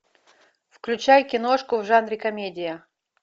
включай киношку в жанре комедия